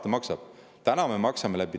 Mis rahast ta nende eest maksab?